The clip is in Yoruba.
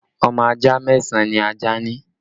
Ọmọ ajá mẹ́sàn án ni ajá ní